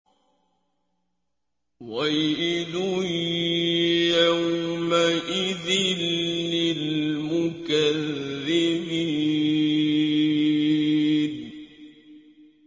وَيْلٌ يَوْمَئِذٍ لِّلْمُكَذِّبِينَ